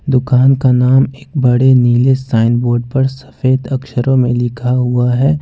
दुकान का नाम एक बड़े नीले साइन बोर्ड पर सफेद अक्षरों में लिखा हुआ है।